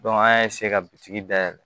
an y'a ka bitiki dayɛlɛ